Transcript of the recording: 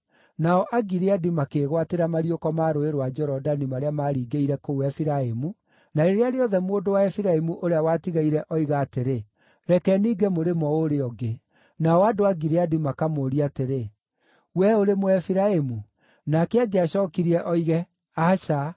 Nao Agileadi makĩĩgwatĩra mariũko ma Rũũĩ rwa Jorodani marĩa maaringĩrĩire kũu Efiraimu, na rĩrĩa rĩothe mũndũ wa Efiraimu ũrĩa watigaire oiga atĩrĩ, “Reke ninge mũrĩmo ũrĩa ũngĩ,” Nao andũ a Gileadi makamũũria atĩrĩ, “Wee ũrĩ Mũefiraimu?” Nake angĩacookirie oige, “Aca,”